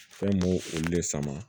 Fɛn m'o olu de sama